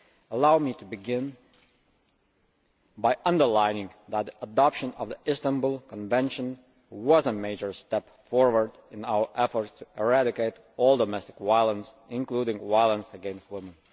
Allow me to begin by underlining that the adoption of the Istanbul Convention was a major step forward in our efforts to eradicate all domestic violence, including violence against women.